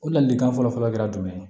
O ladilikan fɔlɔfɔlɔ kɛra jumɛn ye